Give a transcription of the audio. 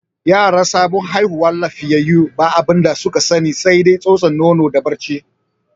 Yara sabon haihuwa lafiyayyu ba abinda su ka sani sai dai tsotson nono da barci.